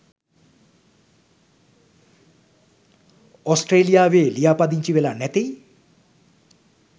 ඔස්ට්‍රලියාවෙ ලියාපදිංචි වෙලා නැතෙයි?